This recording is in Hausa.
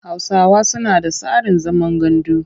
Hausawa suna da tsarin zaman gandu.